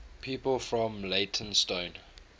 people from leytonstone